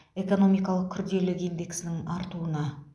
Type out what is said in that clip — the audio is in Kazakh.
экономикалық күрделілік индексінің артуына